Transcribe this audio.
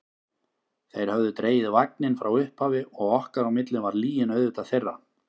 Þeir höfðu dregið vagninn frá upphafi og okkar á milli var lygin auðvitað þeirra.